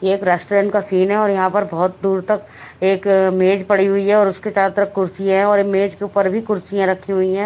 ये एक रेस्टोरेंट का सीन हैं और यहाँ पर बहोत दूर तक एक अ मेज पड़ी हुई हैं और उसके चारों तरफ कुर्सी हैं और ये मेज के ऊपर भीं कुर्सियाँ रखीं हुई हैं।